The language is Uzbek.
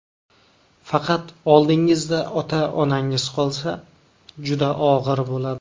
Faqat oldingizda ota-onangiz qolsa, juda og‘ir bo‘ladi.